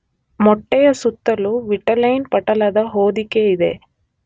ಮೊಟ್ಟೆಯ ಸುತ್ತಲೂ ವಿಟಿಲೈನ್ ಪಟಲದ ಹೋದಿಕೆ ಇದೆ.